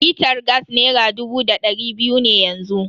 Litar gas nera dubu da dari biyu ne yanzu.